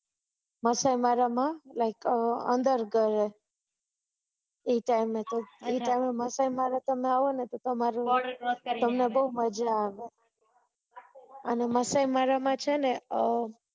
Maasai Mara છે ને અર માસાય મારા માં like અંદર ગરે ઈ ટાઇમે તમે આવો ને તો તમને બહુ મજા આવે અને માસાય મારા છે ને